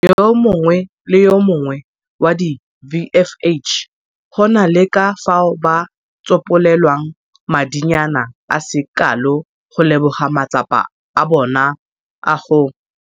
Yo mongwe le yo mongwe wa di-VFH go na le ka fao ba tsopolelwang madinyana a se kalo go leboga matsapa a bona a go.